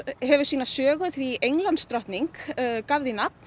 hefur sína sögu því Englandsdrottning gaf því nafn